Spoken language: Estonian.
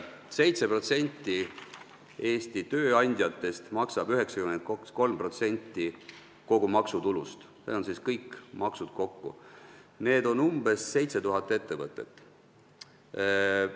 7% Eesti tööandjatest ehk umbes 7000 ettevõtet maksab 93% kogu maksutulust .